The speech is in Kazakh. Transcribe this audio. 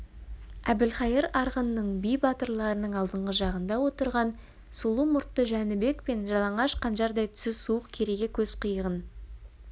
әбілқайыр арғынның би батырларының алдыңғы жағында отырған сұлу мұртты жәнібек пен жалаңаш қанжардай түсі суық керейге көз қиығын